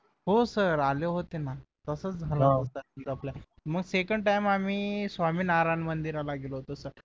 हो सर आले होते ना तसच झालं होत मग second time आम्ही स्वामीनारायण मंदिराला गेलो होतो सर